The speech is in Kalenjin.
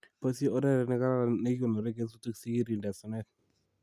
Boisie oret ne kararan nikikonore kesutik sikirinde asenet